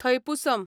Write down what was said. Thaipusam